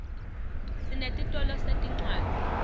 sinetitolo setincwadzi